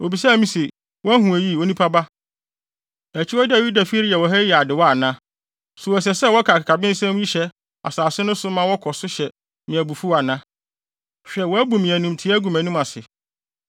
Obisaa me se, “Woahu eyi, onipa ba? Akyiwade a Yudafi reyɛ wɔ ha yi yɛ adewa ana? So ɛsɛ sɛ wɔde akakabensɛm hyɛ asase no so ma na wɔkɔ so hyɛ me abufuw ana? Hwɛ wɔabu me animtiaa agu mʼanim ase!